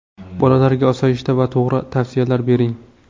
Bolalarga osoyishta va to‘g‘ri tavsiyalar bering.